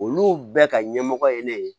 Olu bɛɛ ka ɲɛmɔgɔ ye ne ye